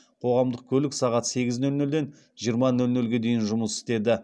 қоғамдық көлік сағат сегіз нөл нөлден жиырма нөл нөлге дейін жұмыс істеді